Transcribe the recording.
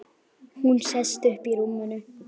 Hún sest upp í rúminu.